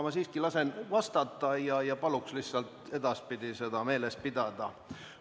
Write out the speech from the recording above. Ma siiski lasen vastata, aga palun seda edaspidi meeles pidada.